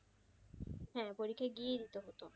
হ্যাঁ পরীক্ষা গিয়েই দিতে হতো।